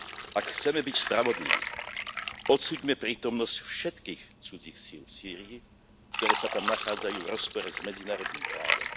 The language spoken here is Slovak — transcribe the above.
Ak chceme byť spravodliví, odsúďme prítomnosť všetkých cudzích síl v Sýrii, ktoré sa tam nachádzajú v rozpore s medzinárodným právom.